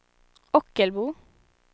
Ockelbo